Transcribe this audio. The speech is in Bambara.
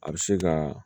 A bɛ se ka